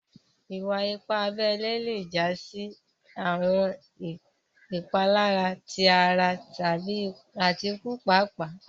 Ìwà-ìpà àbèlè lè já sí àwọn ìpàlàrá tó ara àti ìkù pààpàà.